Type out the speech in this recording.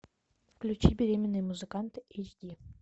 включи беременные музыканты эйч ди